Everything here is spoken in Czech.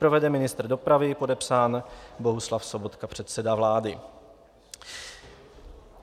Provede ministr dopravy, podepsán Bohuslav Sobotka, předseda vlády."